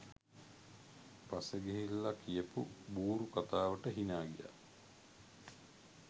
පස්සෙ ගිහිල්ල කියපු බූරු කතාවට හිනා ගියා.